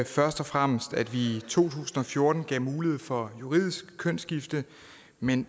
først og fremmest at vi i to tusind og fjorten gav mulighed for juridisk kønsskifte men